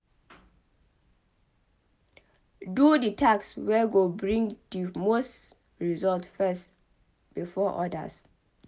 Do di task wey go bring di most result first before odas